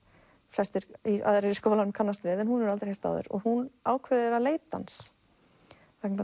flestir aðrir í skólanum kannast við en hún hefur aldrei heyrt áður hún ákveður að leita hans vegna